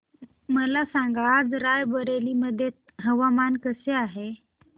मला सांगा आज राय बरेली मध्ये हवामान कसे आहे